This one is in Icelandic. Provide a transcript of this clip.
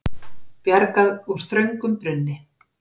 Bjargað úr þröngum brunni